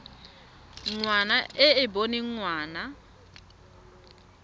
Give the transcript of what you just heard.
ngwana e e boneng ngwana